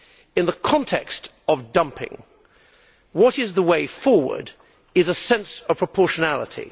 In the context of dumping, the way forward is a sense of proportionality.